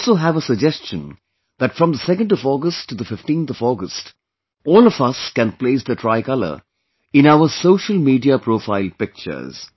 I also have a suggestion that from the 2nd of August to the 15th of August, all of us can place the tricolor in our social media profile pictures